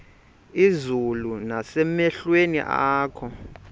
izulu nasemehlweni akho